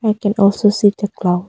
I can also see the cloud.